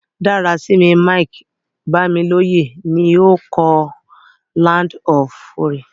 Dárasími Mike-Bámilóyè ni o kọ "Land of Fury".